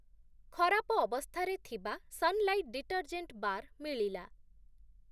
ଖରାପ ଅବସ୍ଥାରେ ଥିବା ସନ୍‌ଲାଇଟ୍ ଡିଟର୍‌ଜେଣ୍ଟ୍‌ ବାର୍‌ ମିଳିଲା ।